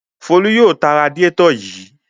Folú yóò ta radiátọ̀ yìí.